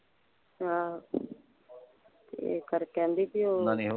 ਆਹ ਇਹ ਕਰਕੇ ਕਹਿੰਦੀ ਬੀ ਓਹ ਓਹਨਾਂ ਨੇ ਇਹੋ।